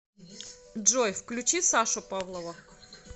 джой включи сашу павлова